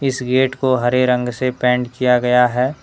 इस गेट को हरे रंग से पेंट किया गया है।